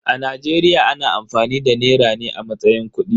A Najeriya ana amfani da nera ne a matsayin kudi.